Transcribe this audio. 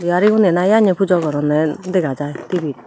bihari gunnei na yanne pujo goronney dega jai tvit.